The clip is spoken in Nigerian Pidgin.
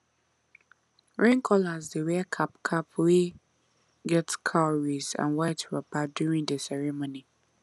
rain callers dey wear cap cap wey get cowries and white wrapper during the ceremony